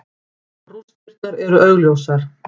Rústirnar eru augljósar.